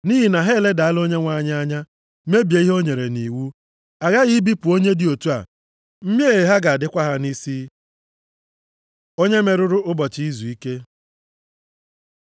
Nʼihi na ha eledala okwu Onyenwe anyị anya, mebie ihe o nyere nʼiwu. A ghaghị ibipụ onye dị otu a, mmehie ha ga-adịkwa ha nʼisi.’ ” Onye merụrụ ụbọchị izuike